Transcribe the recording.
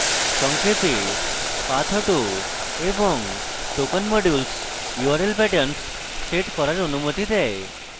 সংক্ষেপেpathauto এবং token modules url patterns set করার অনুমতি দেয়